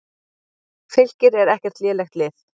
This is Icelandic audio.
Fylkir er ekkert lélegt lið.